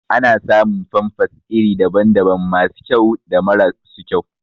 Ana samun famfas iri daban daban masu kyau da mara su kyau